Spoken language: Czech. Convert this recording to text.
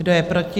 Kdo je proti?